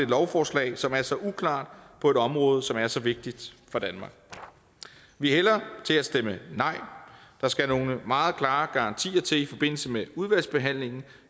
lovforslag som er så uklart på et område som er så vigtigt for danmark vi hælder til at stemme nej der skal nogle meget klare garantier til i forbindelse med udvalgsbehandlingen